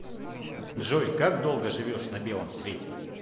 джой как долго живешь на белом свете